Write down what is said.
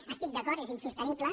hi estic d’acord és insostenible